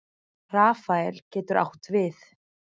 Rafael getur átt við